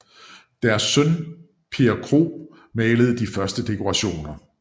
Deres søn Per Krohg malede de første dekorationer